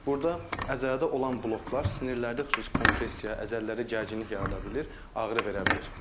Burda əzələdə olan bloklar, sinirlərdə xüsusi kompressiya, əzələlərdə gərginlik yarada bilir, ağrı verə bilir.